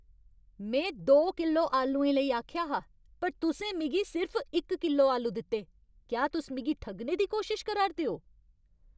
में दो किलो आलुएं लेई आखेआ हा पर तुसें मिगी सिर्फ इक किलो आलू दित्ते! क्या तुस मिगी ठग्गने दी कोशश करा'रदे ओ?